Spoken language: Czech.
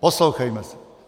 Poslouchejme se.